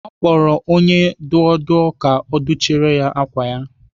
Ọ kpọrọ onye dụọ dụọ ka ọ dụchiere ya ákwà ya.